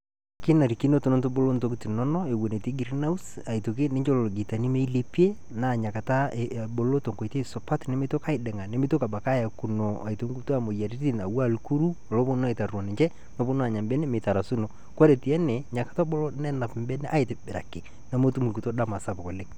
kinarikino tenitubulu btokiting inonok te greenhouse njoo lopitani milepie pebulu tenkoitoi supat nimitoki aiding'ayu nimitoki abaki ayakuno nkituaa moyiaritin aku aa ilkuru neponu anya mbene .koree teene na kebulu nenap mbenek aitobiraki nemetum nkituo dama sapuk oleng